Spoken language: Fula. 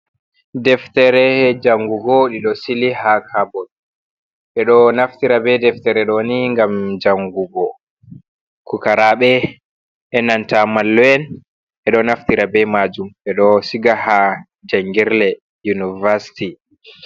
Deftere jangugo ɗiɗo sili ha kabot ɓeɗo naftira be deftere ɗoni ngam jangugo pukaraaɓe enanta mallum en ɓeɗo naftira be majum ɓeɗo siga ha jangirle univasti.